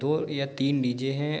दो या तीन डि.जे. हैं।